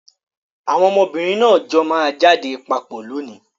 Àwọn ọmọbìnrin náà jọ máa jáde papọ̀ lónìí.